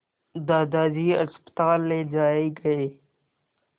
दादाजी अस्पताल ले जाए गए